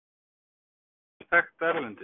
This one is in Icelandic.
Er þessi hátíð orðin mjög þekkt erlendis?